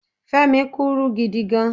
Femi kúrú gidi gan